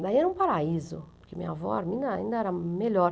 Daí era um paraíso, porque minha avó Arminda ainda era melhor.